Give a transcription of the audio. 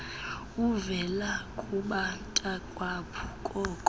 uvela kubantakwabo koo